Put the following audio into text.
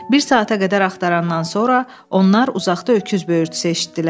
Bir saata qədər axtarandan sonra onlar uzaqda öküz böyürtüsü eşitdilər.